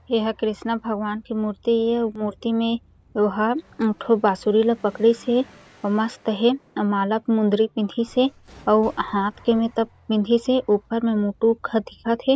एहा कृष्णा भगवान के मूर्ति ए अउ मूर्ति म ओ हर एक ठो बांसुरी ला पकड़ीस हे अउ मस्त हें अउ माला के मुंदरी पहिनीस हे अउ हाथ के में तक पहिनिस हे ऊपर में मुटुक ह दिखत हे।